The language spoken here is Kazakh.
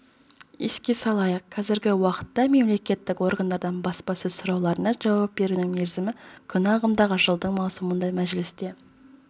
еске салайық қазіргі уақытта мемлекеттік органдардан баспа сұрауларына жауап беруінің мерзімі күн ағымдағы жылдың маусымында мәжілісте